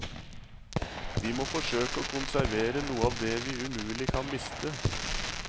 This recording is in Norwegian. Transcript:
Vi må forsøke å konservere noe av det vi umulig kan miste.